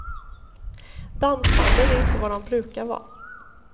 Dansbanden är inte vad de brukar vara.